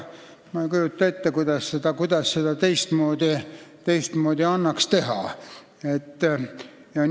Ma ei kujuta ette, kuidas seda annaks teistmoodi teha.